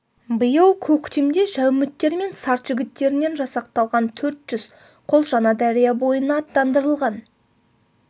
биыл көктемде жәуміттер мен сарт жігіттерінен жасақталған төрт жүз қол жаңадария бойына аттандырылған